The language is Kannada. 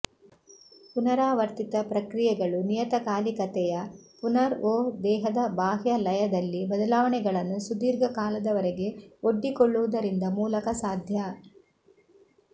ಪುನರಾವರ್ತಿತ ಪ್ರಕ್ರಿಯೆಗಳು ನಿಯತಕಾಲಿಕತೆಯ ಪುನರ್ ಒ ದೇಹದ ಬಾಹ್ಯ ಲಯದಲ್ಲಿ ಬದಲಾವಣೆಗಳನ್ನು ಸುದೀರ್ಘ ಕಾಲದವರೆಗೆ ಒಡ್ಡಿಕೊಳ್ಳುವುದರಿಂದ ಮೂಲಕ ಸಾಧ್ಯ